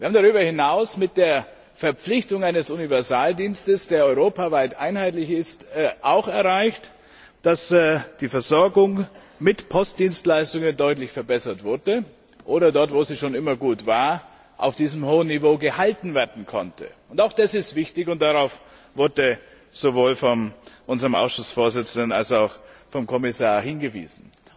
Wir haben darüber hinaus mit der Verpflichtung zu einem Universaldienst, der europaweit einheitlich ist, auch erreicht, dass die Versorgung mit Postdienstleistungen deutlich verbessert wurde, oder dort, wo sie schon immer gut war, auf diesem hohen Niveau gehalten werden konnte. Auch das ist wichtig und darauf wurde sowohl von unserem Ausschussvorsitzenden als auch vom Kommissar hingewiesen.